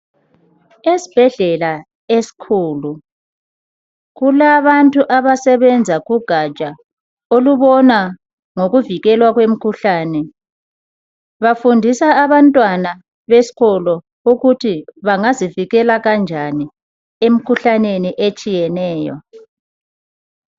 Esibhedlela esikhulu kulabantu abasebenza kugatsha olubona ngokuvikelwa kwemikhuhlane. Bafundisa abantwana besikolo ukuthi bangazivikela kanjani emkhuhlaneni etshiyeneyo.